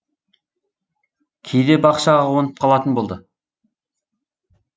кейде бақшаға қонып қалатын болды